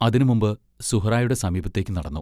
അതിനു മുമ്പ് സുഹ്റായുടെ സമീപത്തേക്കു നടന്നു.